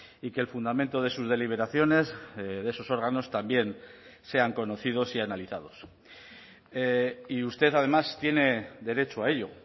y que el fundamento de sus deliberaciones de esos órganos también sean conocidos y analizados y usted además tiene derecho a ello